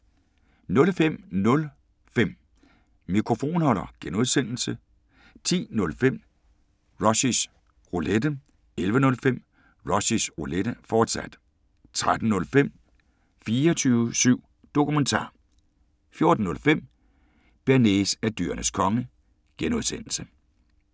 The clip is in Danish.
05:05: Mikrofonholder (G) 10:05: Rushys Roulette 11:05: Rushys Roulette, fortsat 13:05: 24syv Dokumentar 14:05: Bearnaise er Dyrenes Konge (G)